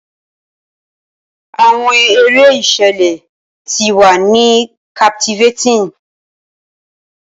Awọn ere iṣẹlẹ ti wa ni captivating.